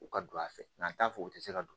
U ka don a fɛ n'an t'a fɛ u tɛ se ka don